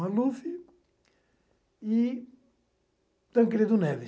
Maluf e Tancredo Neves.